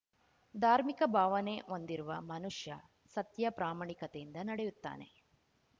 ಧಾರ್ಮಿಕ ಭಾವನೆ ಹೊಂದಿರುವ ಮನುಷ್ಯ ಸತ್ಯ ಪ್ರಾಮಾಣಿಕತೆಯಿಂದ ನಡೆಯುತ್ತಾನೆ